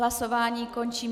Hlasování končím.